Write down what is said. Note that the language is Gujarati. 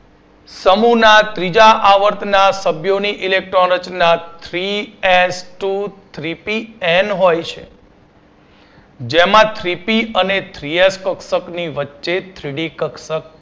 સમૂહ ના ત્રીજા આવર્ત ના સભ્યો ની ઇલેક્ટ્રોન રચના Three S Two, Three P n હોય છે જેમાં Three P અને Three H કક્ષકો ની વચ્ચે Three D કક્ષક